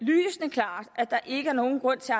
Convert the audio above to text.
at at der ikke er nogen grund til